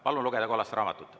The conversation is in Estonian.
Palun lugeda kollast raamatut.